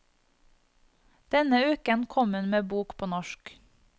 Denne uken kom hun med bok på norsk.